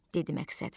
dedi Məqsəd.